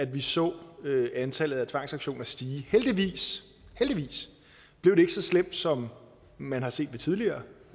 vi så antallet af tvangsauktioner stige heldigvis heldigvis blev det ikke så slemt som man har set det ved tidligere